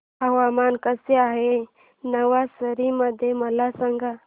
हवामान कसे आहे नवसारी मध्ये मला सांगा